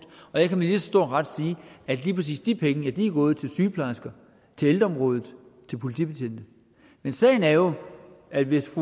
og jeg kan med lige så stor ret sige at lige præcis de penge er gået til sygeplejersker til ældreområdet til politibetjente men sagen er jo at hvis